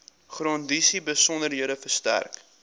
grondeise besonderhede verstrek